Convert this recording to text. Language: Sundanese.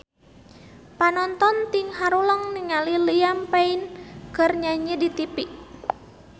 Panonton ting haruleng ningali Liam Payne keur nyanyi di tipi